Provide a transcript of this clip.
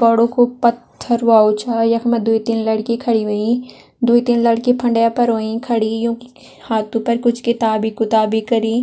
बड़ु कु पत्थर वाउ छ। यख मां द्वि तीन लड़की खड़ी वईं। द्वि तीन लड़की फंडे पर होईं खड़ी। युकी हाथों पर कुछ किताबी-कुताबी करीं।